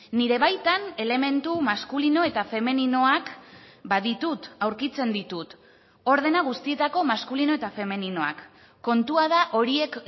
nire baitan elementu maskulino eta femeninoak baditut aurkitzen ditut ordena guztietako maskulino eta femeninoak kontua da horiek